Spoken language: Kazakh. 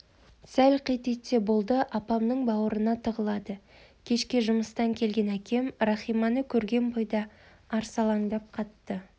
сәл қит етсе болды апамның бауырына тығылады кешке жұмыстан келген әкем рахиманы көрген бойда арсалаңдап қатты